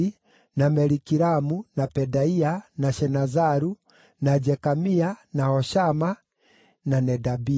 na Malikiramu, na Pedaia, na Shenazaru, na Jekamia, na Hoshama, na Nedabia.